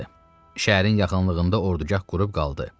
Şəhərin yaxınlığında ordugah qurub qaldı.